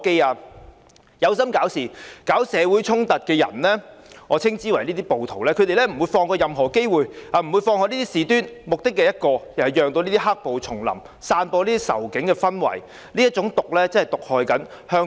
那些有心搞事、搞社會衝突的人——我稱之為"暴徒"——他們不會放過任何機會和事端，目的只有一個，便是讓"黑暴"重臨，散播仇警的氛圍，這種毒真的在毒害香港。